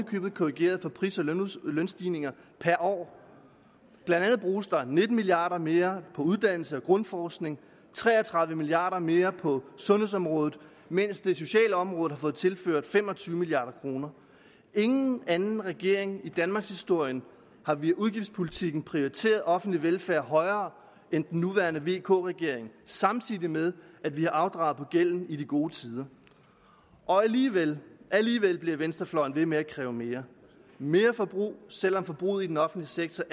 købet korrigeret for pris og lønstigninger per år blandt andet bruges der nitten milliard kroner mere på uddannelse og grundforskning tre og tredive milliard kroner mere på sundhedsområdet mens det sociale område har fået tilført fem og tyve milliard kroner ingen anden regering i danmarkshistorien har via udgiftspolitikken prioriteret offentlig velfærd højere end den nuværende vk regering samtidig med at vi har afdraget på gælden i de gode tider alligevel alligevel bliver venstrefløjen ved med at kræve mere mere forbrug selv om forbruget i den offentlige sektor